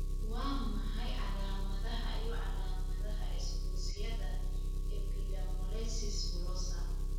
Waa maxay calaamadaha iyo calaamadaha isgoysyada epidermolysis bullosa?